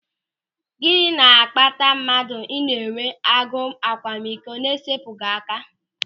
Gịnị na-akpata mmadụ ị na-enwe agụ akwamiko na-esepụghị aka?